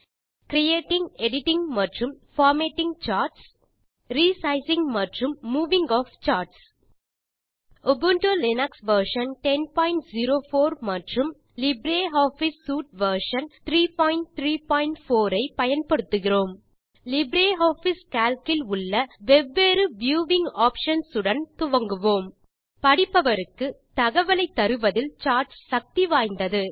creatingஎடிட்டிங் மற்றும் formatting charts resizing மற்றும் moving of charts Ubuntu Linux version 1004 மற்றும் லிப்ரியாஃபிஸ் சூட் வெர்ஷன் 334 ஐ பயன்படுத்துகிறோம் லிப்ரியாஃபிஸ் கால்க் இல் உள்ள வெவ்வேறு வியூவிங் ஆப்ஷன்ஸ் உடன் துவங்குவோம் படிப்பவருக்கு தகவலைத் தருவதில் சார்ட்ஸ் சக்தி வாய்ந்தது